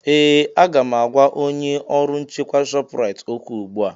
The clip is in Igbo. Ee! Aga m agwa onye ọrụ nchekwa Shọpraịt okwu ugbu a.